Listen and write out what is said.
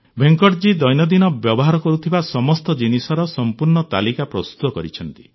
ଭେଙ୍କଟଜୀ ଦୈନନ୍ଦିନ ବ୍ୟବହାର କରୁଥିବା ସମସ୍ତ ଜିନିଷର ସମ୍ପୂର୍ଣ୍ଣ ତାଲିକା ପ୍ରସ୍ତୁତ କରିଛନ୍ତି